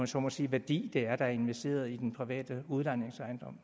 så må sige værdi der er investeret i den private udlejningsejendom